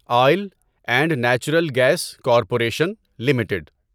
oil and natural gas corporation limited